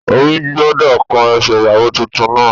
Omi gbọ́dọ̀ kan ẹsẹ̀ ìyàwó titun náà